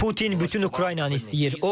Putin bütün Ukraynanı istəyir.